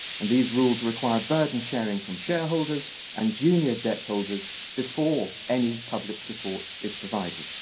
and these rules require burden sharing from shareholders and junior debt holders before any public support is provided.